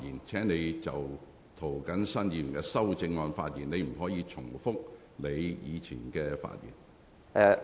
請你就涂謹申議員的修正案發言，不要重複先前的論點。